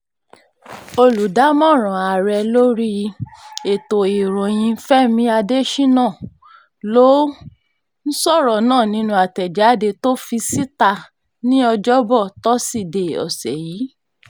olùdámọ̀ràn ààrẹ lórí um ètò ìròyìn fẹmi adésínà ló um sọ̀rọ̀ náà nínú àtẹ̀jáde tó fi síta ní ọ̀jọ̀bọ̀ tọ́sídẹ̀ẹ́ ọ̀sẹ̀ yìí